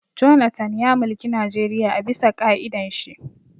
Jonathan ya mulki Najeriya a bisa ƙa'idan shi